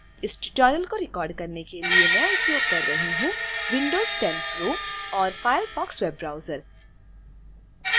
इस ट्यूटोरियल को रिकॉर्ड करने के लिए मैं उपयोग कर रही हूं windows 10 pro